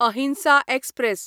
अहिंसा एक्सप्रॅस